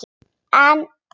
En